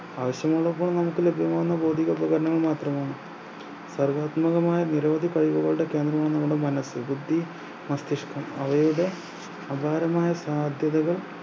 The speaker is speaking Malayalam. ആവശ്യമുള്ളപ്പോൾ നമുക്ക് ലഭ്യമാകുന്ന പ്രചാരണങ്ങൾ മാത്രമാണ് സർവ്വത്മകമായ നിരവധി കവിതകളുടെ കേന്ദ്രമാണ് നിങ്ങളുടെ മനസ്സ് ബുദ്ധി മസ്തിഷ്‌കം അവയുടെ അപാരമായ സാദ്ധ്യതകൾ